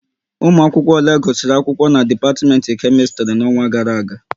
Ụmụ akwụkwọ ole gusiri akwụkwọ na dipatiment Kemistri n'ọnwa gara aga